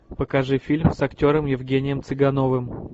покажи фильм с актером евгением цыгановым